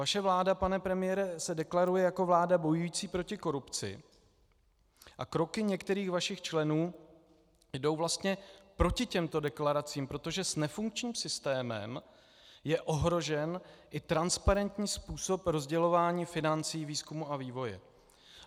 Vaše vláda, pane premiére, se deklaruje jako vláda bojující proti korupci a kroky některých vašich členů jdou vlastně proti těmto deklaracím, protože s nefunkčním systémem je ohrožen i transparentní způsob rozdělování financí výzkumu a vývoje.